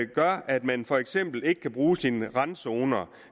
gør at man for eksempel ikke kan bruge sine randzoner